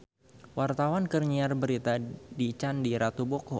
Wartawan keur nyiar berita di Candi Ratu Boko